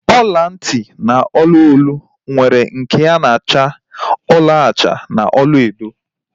Ọla ntị na ọla olu nwere nke na-acha ọlaọcha na olaedo